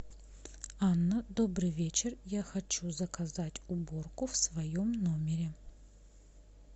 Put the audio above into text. анна добрый вечер я хочу заказать уборку в своем номере